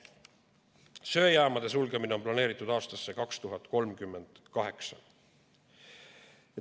Söejaamade sulgemine on planeeritud aastasse 2038.